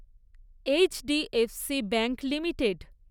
H D F C bank limited